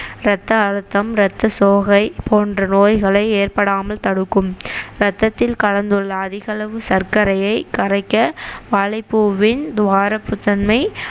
இரத்த அழுத்தம் ரத்த சோகை போன்ற நோய்களை ஏற்படாமல் தடுக்கும் ரத்தத்தில் கலந்துள்ள அதிக அளவு சர்க்கரையை கரைக்க வாழைப்பூவின் துவர்ப்புத்தன்மை